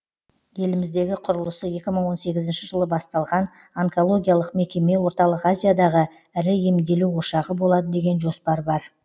еліміздегі құрылысы екі мың он сегізінші жылы басталған онкологиялық мекеме орталық азиядағы ірі емделу ошағы болады деген жоспар бар